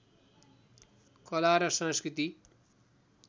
कला र संस्कृति